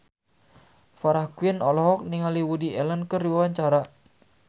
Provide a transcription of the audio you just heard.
Farah Quinn olohok ningali Woody Allen keur diwawancara